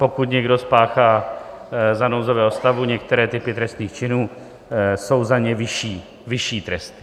Pokud někdo spáchá za nouzového stavu některé typy trestných činů, jsou za ně vyšší tresty.